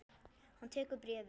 Hann tekur bréfið.